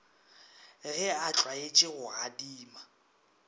ge a tlwaetše go adima